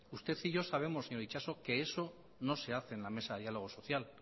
usted y yo sabemos señor itxaso que eso no se hace en la mesa de diálogo social